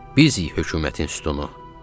Bizik hökumətin sütunu.